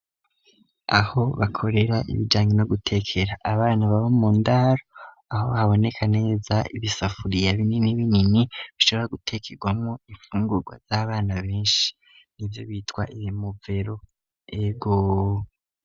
Aho bakorera ibijanye no gutekera abana baba mundaro aho haboneka neza ibisafuriya binini binini bashobora gutekerwamo imfungurwa z'abana benshi nivyo bitwa imovero ego.